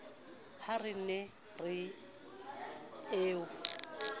ha re ne re o